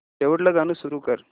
शेवटचं गाणं सुरू कर